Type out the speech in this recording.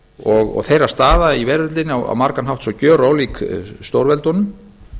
smáríkjanna og þeirra staða í veröldinni á margan hátt svo gjörólík stórveldunum